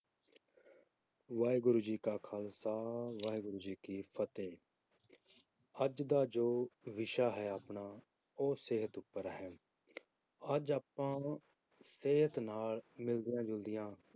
ਵਾਹਿਗੁਰੂ ਜੀ ਕਾ ਖਾਲਸਾ ਵਾਹਿਗੁਰੂ ਜੀ ਕੀ ਫਤਿਹ ਅੱਜ ਦਾ ਜੋ ਵਿਸ਼ਾ ਹੈ ਆਪਣਾ ਉਹ ਸਿਹਤ ਉੱਪਰ ਹੈ ਅੱਜ ਆਪਾਂ ਸਿਹਤ ਨਾਲ ਮਿਲਦੀਆਂ ਜੁਲਦੀਆਂ